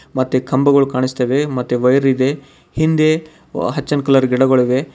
ಮತ್ತೆ ಕಂಬಗಳು ಕಾಣಿಸ್ತವೆ ಮತ್ತೆ ವೈರ ಇದೆ ಹಿಂದೆ ಒ- ಹಚ್ಚನ ಕಲರ್ ಗಿಡಗೋಳ ಇವೆ.